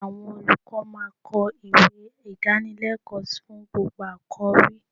Àwọn olùkọ́ máa kọ ìwé Ìdánilẹ́kọ̀ọ́ fún gbogbo àkọ̀rí.